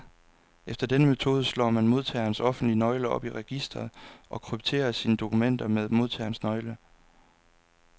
Efter denne metode slår man modtagerens offentlige nøgle op i registret, og krypterer sine dokumenter med modtagerens nøgle.